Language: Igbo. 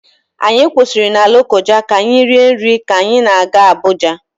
Anyị kwụsịrị na Lokoja ka anyị rie nri ka anyị na-aga Abuja.